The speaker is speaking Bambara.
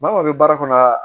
Maaw bɛ baara kɔnɔ